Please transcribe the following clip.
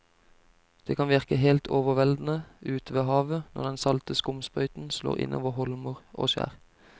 Det kan virke helt overveldende ute ved havet når den salte skumsprøyten slår innover holmer og skjær.